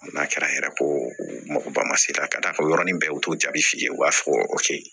N'a kɛra yɛrɛ ko mɔgɔ ma sera ka da kan o yɔrɔnin bɛɛ u t'o jaabi f'i ye u b'a fɔ o ke yen